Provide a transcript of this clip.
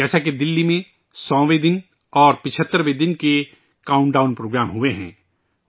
جیسا کہ دہلی میں 100 ویں دن اور 75 ویں دن کے کاونٹ ڈاون پروگرامز ہوئے ہیں